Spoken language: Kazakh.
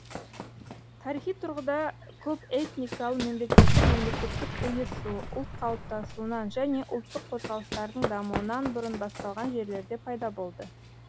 тарихи тұрғыда көпэтникалы мемлекеттер мемлекеттік ұйысу ұлт қалыптасуынан және ұлттық қозғалыстардың дамуынан бұрын басталған жерлерде пайда болды